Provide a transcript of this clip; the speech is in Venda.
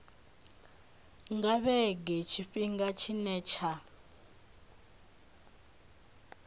nga vhege tshifhinga tshine tsha